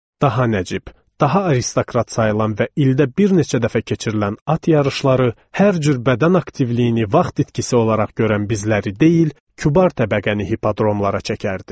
Daha nəcib, daha aristokrat sayılan və ildə bir neçə dəfə keçirilən at yarışları hər cür bədən aktivliyini vaxt itkisi olaraq görən bizləri deyil, kübar təbəqəni hipodromlara çəkərdi.